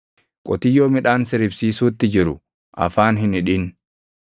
Qotiyyoo midhaan siribsiisuutti jiru afaan hin hidhin.